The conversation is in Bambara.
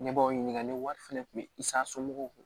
Ne b'aw ɲininka ne wari fɛnɛ kun bɛ i sago kun